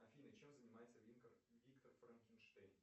афина чем занимается виктор франкенштейн